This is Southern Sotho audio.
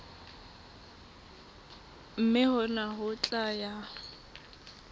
mme hona ho tla ya